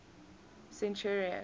centurion